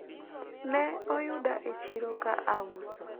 ne oyuda e chiro ka auso